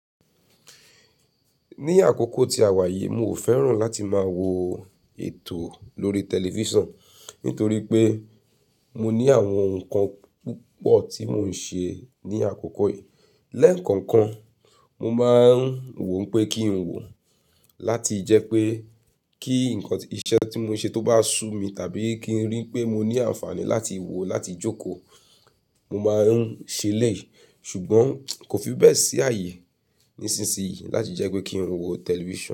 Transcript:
Ní àkókò tí a wà yìí mi ò fẹ́ràn láti máa wo ètò lórí tẹlifísàn nítorí pé mo ní àwọn nǹkan púpọ̀ tí mò ń ṣe ní àkókò yìí. Lẹ́ẹ̀kookan, mo máa ń wò ń pé kí n wò láti jẹ́ pé kí nǹkan-- iṣẹ́ tí mò ń ṣe tó bá ṣú mi tàbí kí n rí i pé mo ní àǹfààní láti wò láti jókòó, mo máa ń ṣe elẹ́ẹ̀yì. Ṣùgbọ́n kò fi bẹ́ẹ̀ sí àyè nísinsìnyí láti jẹ́ pé kí n wo tẹlifísàn.